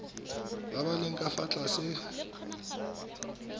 ba leng ka fa tlase